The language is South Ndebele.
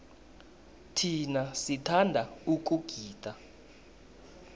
thina sithanda ukugida